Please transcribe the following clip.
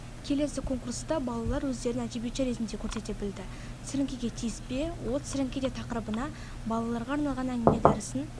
келесі конкурста балалар өздерін әдебиетші ретінде көрсете білді сіріңкеге тиіспе от сіріңкеде тақырыбына балаларға арналған әңгіме дәрісін